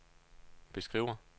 beskriver